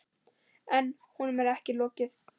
En honum er ekki lokið.